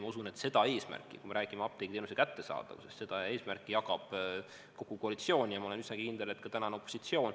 Ma usun, et seda eesmärki, kui me räägime apteegiteenuse kättesaadavusest, jagab kogu koalitsioon ja ma olen üsna kindel, et ka tänane opositsioon.